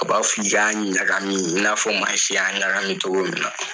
A b'a fɔ i y'a ɲagami i n'a fɔ Maise y' ɲagami togo min na.